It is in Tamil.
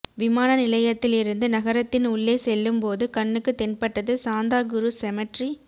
விமான நிலையத்தில் இருந்து நகரத்தின் உள்ளே செல்லும் போது கண்ணுக்கு தென்பட்டது சாந்தா குருஸ் செமற்றி